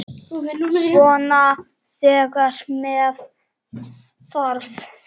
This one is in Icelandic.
Svona þegar með þarf.